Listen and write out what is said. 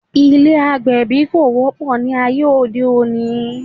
Ilé́ agbẹ̀bí kò wọ́pọ̀ ní ayé òde òní